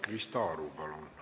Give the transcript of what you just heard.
Krista Aru, palun!